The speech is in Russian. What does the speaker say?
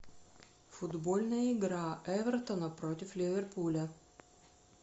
футбольная игра эвертона против ливерпуля